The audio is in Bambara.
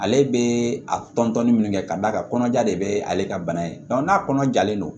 Ale bɛ a tɔntɔnni minnu kɛ ka d'a ka kɔnɔja de bɛ ale ka bana ye n'a kɔnɔjalen don